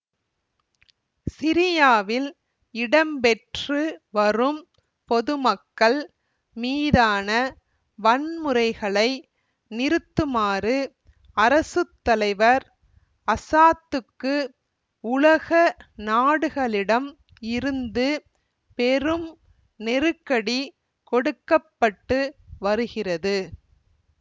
சிரியாவில் இடம்பெற்று வரும் பொதுமக்கள் மீதான வன்முறைகளை நிறுத்துமாறு அரசு தலைவர் அசாதுக்கு உலக நாடுகளிடம் இருந்து பெரும் நெருக்கடி கொடுக்க பட்டு வருகிறது